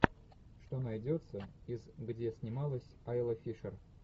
что найдется из где снималась айла фишер